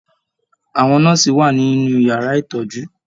Àwọn nọ́ọ́sì wà nínú yàrá ìtọjú.